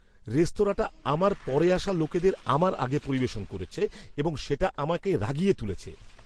রেস্তোরাঁটা আমার পরে আসা লোকেদের আমার আগে পরিবেশন করেছে এবং সেটা আমাকে রাগিয়ে তুলেছে।